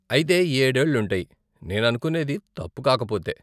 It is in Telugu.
అయితే ఏడేళ్ళు ఉంటాయి, నేను అనుకునేది తప్పు కాకపోతే.